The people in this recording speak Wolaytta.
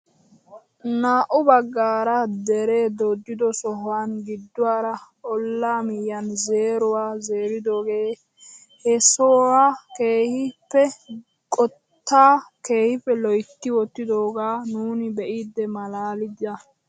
Naa"u baggaara deree dooddido sohuwaan gidduwaara ollaa miyiyaan zeeruwaa zeeridoogee he sohuwaa keehippe qottaa keehippe loytti wottidogaa nuuni be'idi malaalida!